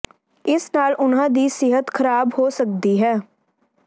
ਇਸ ਨਾਲ ਉਨ੍ਹਾਂ ਦੀ ਸਿਹਤ ਖਰਾਬ ਹੋ ਸਕਦੀ ਹੈ